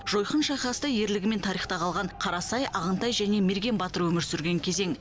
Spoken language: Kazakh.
жойқын шайқаста ерлігімен тарихта қалған қарасай ағынтай және мерген батыр өмір сүрген кезең